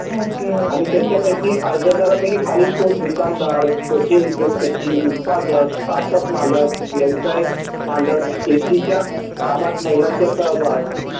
आणि tyachapaiki अर्जदरापैकी कोणी दुकानदर चीते उद्योगपती उत्पादक स्टार्ट अप मालक व्यवसाय मालक शेतीच्या कामात महिलांचा सहभाग